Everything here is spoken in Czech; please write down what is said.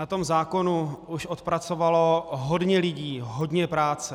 Na tom zákonu už odpracovalo hodně lidí hodně práce.